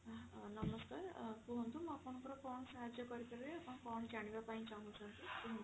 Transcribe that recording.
ନମସ୍କାର ଅ କୁହନ୍ତୁ ମୁଁ ଆପଣଙ୍କ ର କଣ ସାହାର୍ଯ୍ୟ କରିପାରିବି ଆପଣ କଣ ଜାଣିବା ପାଇଁ ଚାହୁଁଛନ୍ତି କୁହନ୍ତୁ?